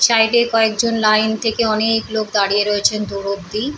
Side এ কয়েকজন line থেকে অনেক লোক দাঁড়িয়ে আছে দূর অবধি ।